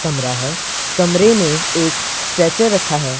कमरा है कमरे में एक स्ट्रचर रखा है।